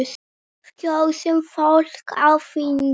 Við kjósum fólk á þing.